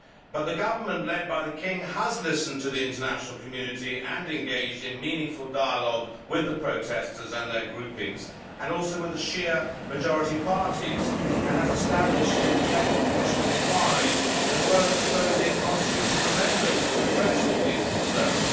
However, the government, led by the King, has listened to the international community and engaged in meaningful dialogue with the protestors and their groupings, and also with the Shia majority parties, and has established an independent commission of inquiry, as well as proposing constitutional amendments to address all these concerns.